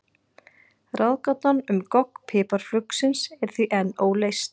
Ráðgátan um gogg piparfuglsins er því enn óleyst.